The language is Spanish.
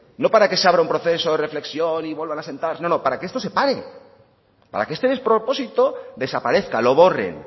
no para que se abra un proceso de reflexión y vuelvan a sentarse no no para que esto se pare para que este despropósito desaparezca lo borren